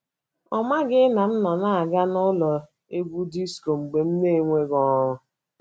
Ọ maghị na m nọ na - aga n’ụlọ egwú disko mgbe m n'enweghị ọrụ. ”